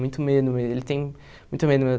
Muito medo mesmo, ele tem muito medo mesmo.